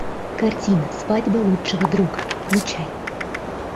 картина свадьба лучшего друга включай